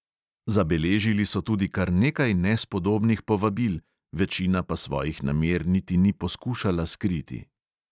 Zabeležili so tudi kar nekaj nespodobnih povabil, večina pa svojih namer niti ni poskušala skriti.